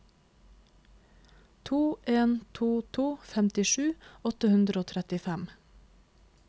to en to to femtisju åtte hundre og trettifem